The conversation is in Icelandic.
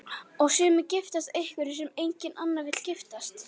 Og sumir giftast einhverjum sem enginn annar vill giftast.